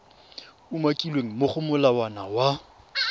umakilweng mo go molawana wa